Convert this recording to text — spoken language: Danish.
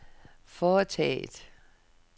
foretaget